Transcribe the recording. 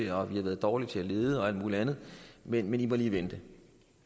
har været dårlig til at lede og alt muligt andet men de må lige vente